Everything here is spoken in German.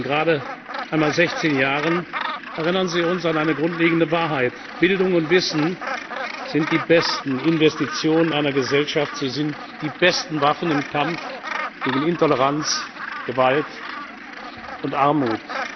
Mit Ihren gerade einmal 16 Jahren erinnern Sie uns an eine grundlegende Wahrheit Bildung und Wissen sind die besten Investitionen einer Gesellschaft, sie sind die besten Waffen im Kampf gegen Intoleranz, Gewalt und Armut.